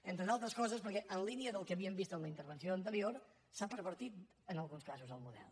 entre d’altres coses perquè en línia del que havíem vist en la intervenció anterior se n’ha pervertit en alguns casos el model